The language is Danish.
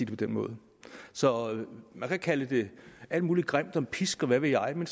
på den måde så man kan kalde det alt muligt grimt som pisk og hvad ved jeg men